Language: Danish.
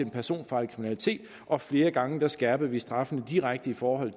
personfarlig kriminalitet og flere gange skærpede vi straffene direkte for